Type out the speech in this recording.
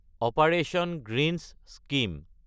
operation greens scheme